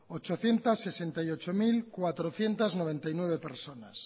ochocientos sesenta y ocho mil cuatrocientos noventa y nueve personas